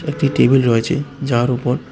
একটি টেবিল রয়েছে যার উপর--